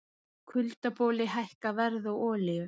Kuldaboli hækkar verð á olíu